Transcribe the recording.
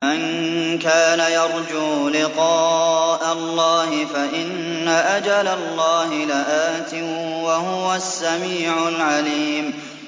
مَن كَانَ يَرْجُو لِقَاءَ اللَّهِ فَإِنَّ أَجَلَ اللَّهِ لَآتٍ ۚ وَهُوَ السَّمِيعُ الْعَلِيمُ